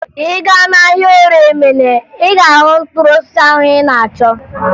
Ị gaa n'ahịa Orie Emene, ị ga-ahụ mkpụrụ osisi ahụ ị na-achọ